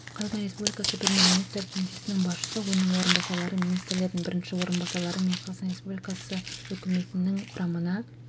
қазақстан республикасы премьер-министрі кеңсесінің басшысы оның орынбасарлары министрлердің бірінші орынбасарлары мен қазақстан республикасы үкіметінің құрамына